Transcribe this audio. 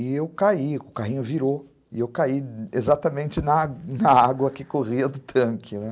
E eu caí, o carrinho virou, e eu caí exatamente na água na água que corria do tanque, né?